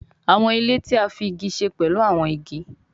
Àwọn ilé tí a fí ìgi ṣe pẹ̀lú áwọn ìgi